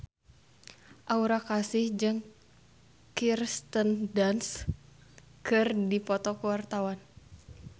Aura Kasih jeung Kirsten Dunst keur dipoto ku wartawan